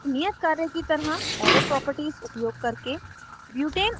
एक नियत कार्य की तरह arrow properties उपयोग करके